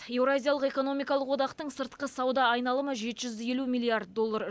еуразиялық экономикалық одақтың сыртқы сауда айналымы жеті жүз елу миллиард доллар